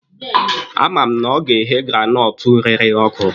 A ma m na ọ ga-eghe granọtụ rere ọkụ.